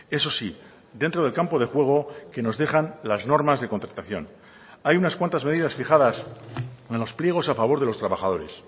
eso sí dentro del campo de juego que nos dejan las normas de contratación hay unas cuantas medidas fijadas en los pliegos a favor de los trabajadores